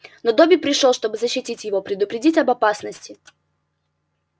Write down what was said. но добби пришёл чтобы защитить его предупредить об опасности